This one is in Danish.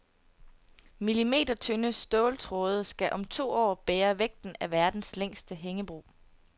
Millimetertynde ståltråde skal om to år bære vægten af verdens længste hængebro.